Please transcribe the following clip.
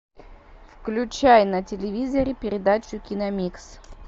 включай на телевизоре передачу киномикс